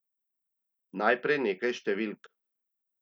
Najprej nekaj številk.